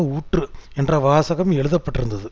ஊற்று என்ற வாசகம் எழுத பட்டிருந்தது